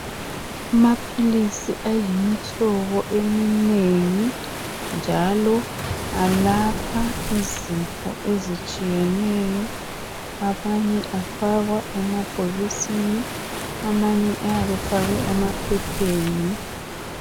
Amaphilisi ayimihlobo eminengi njalo alapha izifo ezitshiyeneyo. Amanye afakwa emabhokisini amanye afakwa emaphepheni.